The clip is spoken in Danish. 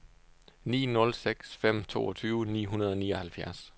ni nul seks fem toogtyve ni hundrede og nioghalvfjerds